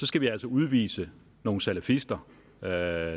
skal vi altså udvise nogle salafister der